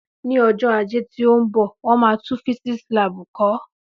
Ní ọjọ́ Ajé tí ó ń bọ̀ wọn máa tún físíísì láàbù kọ̀ọ́